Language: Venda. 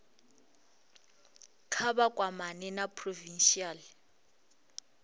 kha vha kwamane na provincial